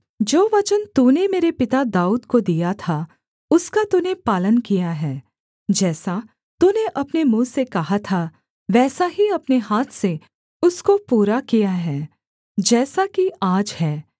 जो वचन तूने मेरे पिता दाऊद को दिया था उसका तूने पालन किया है जैसा तूने अपने मुँह से कहा था वैसा ही अपने हाथ से उसको पूरा किया है जैसा कि आज है